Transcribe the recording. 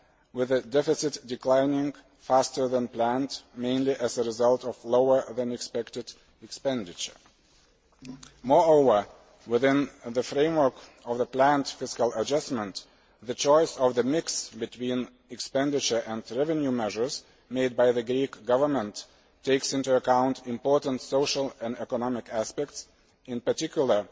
with a deficit declining faster than planned, mainly as a result of lower than expected expenditure. Moreover, within the framework of the planned fiscal adjustment, the choice of the mix between expenditure and revenue measures made by the Greek Government takes into account important social and economic aspects, in particular,